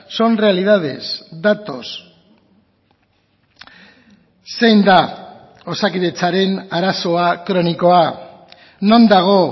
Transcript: son realidades datos zein da osakidetzaren arazoa kronikoa non dago